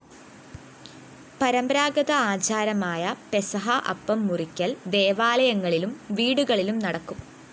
പരമ്പരാഗത ആചാരമായ പെസാഹാ അപ്പം മുറിക്കല്‍ ദേവാലയങ്ങളിലും വീടുകളിലും നടക്കും